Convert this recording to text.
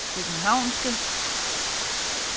københavnske